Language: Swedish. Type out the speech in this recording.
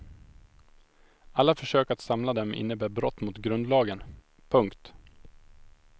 Alla försök att samla dem innebär brott mot grundlagen. punkt